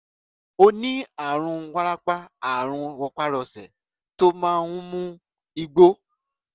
ó ní ààrùn wárápá ààrùn rọpárọsẹ̀ tó máa ń mú egbò